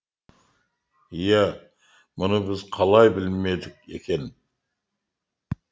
иә мұны біз қалай білмедік екен